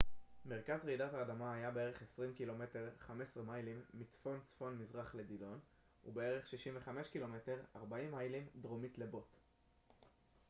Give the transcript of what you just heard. "מרכז רעידת האדמה היה בערך 20 ק""מ 15 מיילים מצפון-צפון-מזרח לדילון dillon ובערך 65 ק""מ 40 מיילים דרומית לבוט botte.